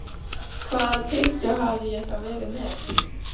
Hvaða tyggjó hafði ég þá verið með?